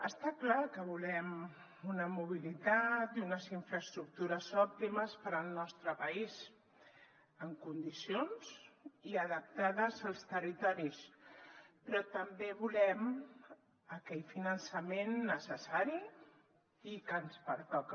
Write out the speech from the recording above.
està clar que volem una mobilitat i unes infraestructures òptimes per al nostre país en condicions i adaptades als territoris però també volem aquell finançament necessari i que ens pertoca